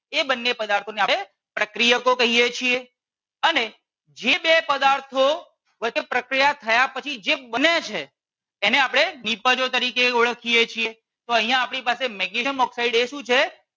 એ બંને પદાર્થો ને આપણે પ્રક્રિયકો કહીએ છીએ. અને જે બે પદાર્થો વચ્ચે પ્રક્રિયા થયા પછી જે બને છે એને આપણે નિપજો તરીકે ઓળખીએ છીએ તો અહિયાં આપણી પાસે મેગ્નેશિયમ ઓક્સાઇડ એ શું છે